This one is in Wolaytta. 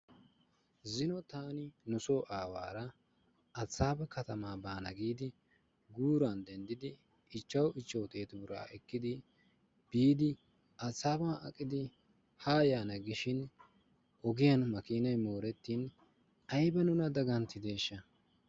Zino taani nusoo aawaara Addisaaba katamaa baana giidi guuran denddidi ichchawu ichchawu xeetu biraa ekkidi biidi Addisaaban aqidi haa yaana giishin ogiyan makiinayi moorettin ayba nuna daganttideeshsha.